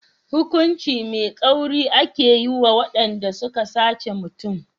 Hukunci mai tsauri ake yi wa waɗanda suka sace mutum.